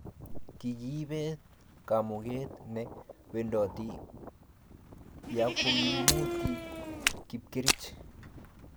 kikiibet kamuket ne wendoti ya kokimuti kapkerich